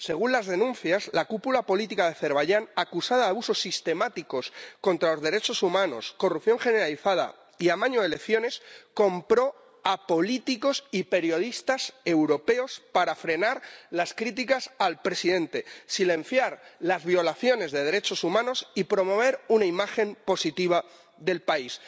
Según las denuncias, la cúpula política de Azerbaiyán, acusada de abusos sistemáticos contra los derechos humanos, corrupción generalizada y amaño de elecciones compró a políticos y periodistas europeos para frenar las críticas al presidente, silenciar las violaciones de derechos humanos y promover una imagen positiva del país.